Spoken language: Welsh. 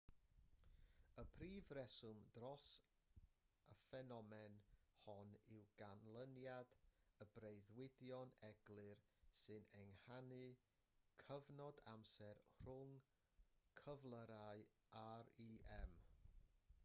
y prif reswm dros y ffenomen hon yw canlyniad y breuddwydion eglur sy'n ehangu'r cyfnod amser rhwng cyflyrau rem